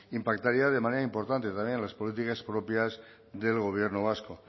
impactaría de manera importante también en las políticas propias del gobierno vasco